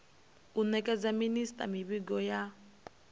u nekedza minisita mivhigo ya